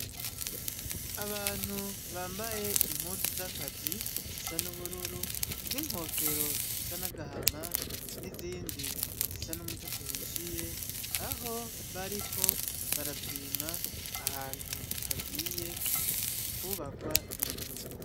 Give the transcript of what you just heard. Abantu bambaye impuzu z'akazi zisa n'ubururu n'inkofero zisa n'agahama, n'izindi zisa n'umutoto uhishiye. Aho, bariko barapima ahantu hagiye kubakwa inzu.